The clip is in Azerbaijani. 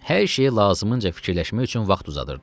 Hər şeyi lazımınca fikirləşmək üçün vaxt uzadırdı.